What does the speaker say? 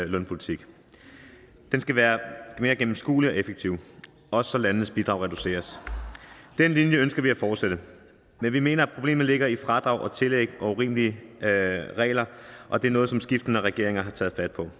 lønpolitik den skal være mere gennemskuelig og effektiv også så landenes bidrag reduceres den linje ønsker vi at fortsætte men vi mener at problemet ligger i fradrag og tillæg og urimelige regler og det er noget som skiftende regeringer har taget fat på